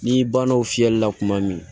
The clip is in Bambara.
N'i banna o fiyɛli la kuma min